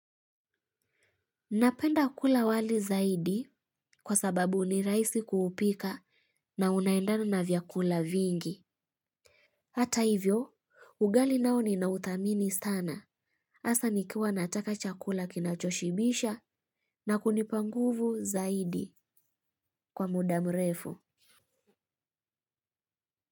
Napenda kula wali zaidi kwa sababu ni rahisi kuupika na unaendana na vyakula vingi. Hata hivyo, ugali nao ninauthamini sana. Hasa nikiwa nataka chakula kinachoshibisha na kunipa nguvu zaidi kwa muda mrefu.